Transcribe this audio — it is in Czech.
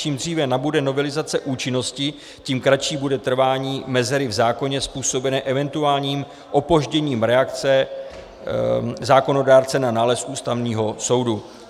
Čím dříve nabude novelizace účinnosti, tím kratší bude trvání mezery v zákoně způsobené eventuálním opožděním reakce zákonodárce na nález Ústavního soudu.